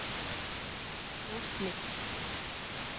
Grotli